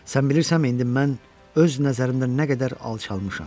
Sən bilirsənmi, indi mən öz nəzərimdə nə qədər alçalmışam?